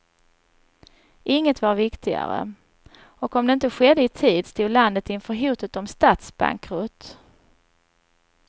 Inget var viktigare, och om det inte skedde i tid stod landet inför hotet om statsbankrutt.